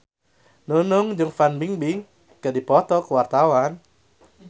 Nunung jeung Fan Bingbing keur dipoto ku wartawan